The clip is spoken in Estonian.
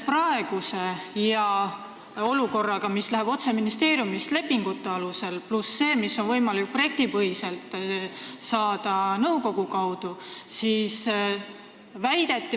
Praegune olukord on selline, et rahastatakse otse ministeeriumist lepingute alusel, pluss see raha, mida on võimalik projektipõhiselt saada nõukogu kaudu.